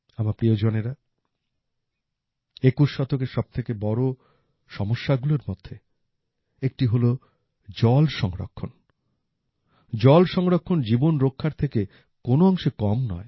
আমার প্রিয়জনেরা একুশ শতকের সবথেকে বড় সমস্যাগুলোর মধ্যে একটি হলো জল সংরক্ষণ জল সংরক্ষণ জীবন রক্ষার থেকে কোন অংশে কম নয়